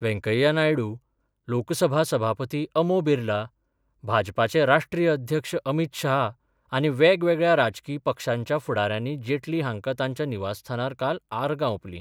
व्यैकय्या नायडू, लोकसभा सभापती अमो बिर्ला, भाजपाचे राष्ट्रीय अध्यक्ष अमित शाह आनी वेगवेगळ्या राजकी पक्षांच्या फुडाऱ्यानी जेटली हांका तांच्या निवासस्थानार काल आर्गा ओपली.